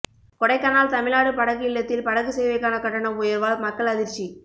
கொடைக்கானல் தமிழ்நாடு படகு இல்லத்தில் படகு சேவைக்கான கட்டணம் உயர்வால் மக்கள் அதிர்ச்சி